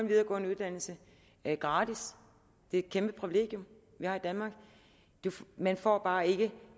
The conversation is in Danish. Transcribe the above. videregående uddannelse gratis det er et kæmpe privilegium vi har i danmark man får bare ikke